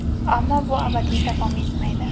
Ammo bu abadiy davom etmaydi.